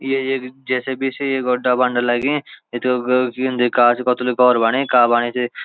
ये एक जे.सी.बी से यो गड्डा बणन लगीं घोर बणी का बणी सी।